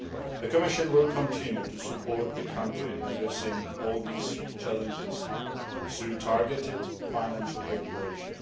The Commission will continue to support the country in addressing all these challenges through targeted financial cooperation.